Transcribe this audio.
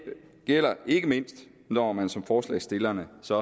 gælder ikke mindst når man som forslagsstillerne så